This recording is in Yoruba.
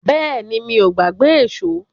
Bẹ́ẹ̀ni, mi ò gbàgbé èṣó.